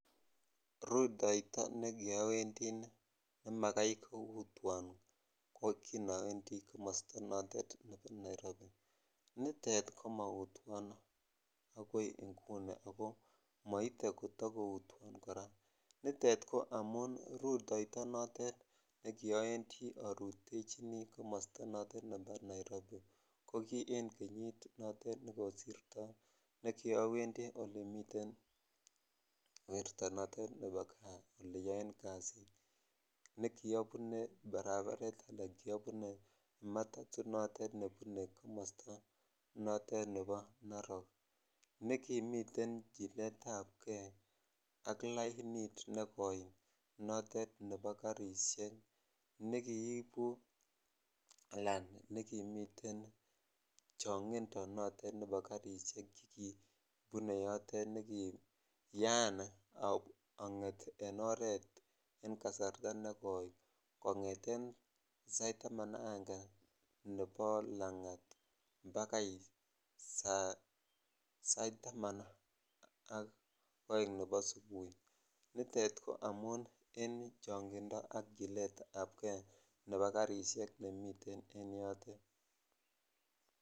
Rutoito nekiowendi nemakai koutwon oot kinowendi komosto notet nebo Nairobi, nitet komoutwon akoii inguni ak ko moite kotokoutwon kora, nitet ko amun rutoito notet nekiowendi orutechini komosto notet nebo Nairobi ko kii en kenyit notet nekosirto ne kiowendi olemiten werto notet nebo kaa eleyoen kasit, nekiobune barabaret alaan kiobune matato notet nebune komosto notet nebo Narok, nekimiten chiletabke ak lainit nekoi notet nebo karishek neiibu alaan nekimiten chongindo notet nebo karishek chekibune yotet nekiyaan onget en oreet en kasarta nekoi kongeten sait taman aka akenge nebo langat bakai saitaman ak oeng nebo subui, nitet ko amun en chongindo ak chiletabke nebo karishek nemiten en yotet.